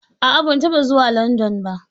A'a, ban taba zuwa Landan ba